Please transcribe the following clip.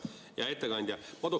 Hea ettekandja!